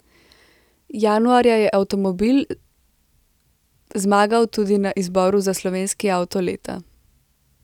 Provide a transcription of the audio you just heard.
Januarja je avtomobil zmagal tudi na izboru za slovenski avto leta.